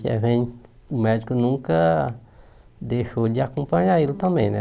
o médico nunca deixou de acompanhar ele também né.